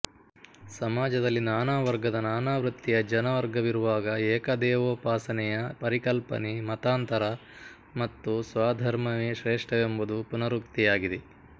ಸಮಾಜದಲ್ಲಿ ನಾನಾವರ್ಗದ ನಾನಾವೃತ್ತಿಯ ಜನವರ್ಗವಿರುವಾಗ ಏಕದೇವೋಪಾಸನೆಯ ಪರಿಕಲ್ಪನೆ ಮತಾಂತರ ಮತ್ತು ಸ್ವಧರ್ಮವೇ ಶ್ರೇಷ್ಠವೆಂಬದು ಪುನರುಕ್ತಿಯಾಗಿದೆ